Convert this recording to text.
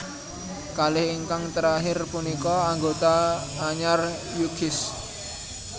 Kalih ingkang terakhir punika anggota anyar U Kiss